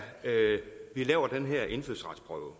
vi laver den her indfødsretsprøve